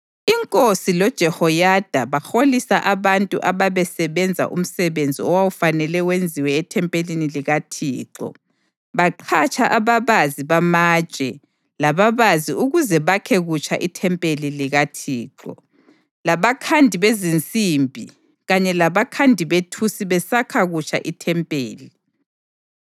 Inkosi loJehoyada baholisa abantu ababesenza umsebenzi owawufanele wenziwe ethempelini likaThixo. Baqhatsha ababazi bamatshe lababazi ukuze bakhe kutsha ithempeli likaThixo, labakhandi bezinsimbi kanye labakhandi bethusi besakha kutsha ithempeli.